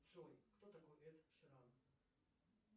джой кто такой эд ширан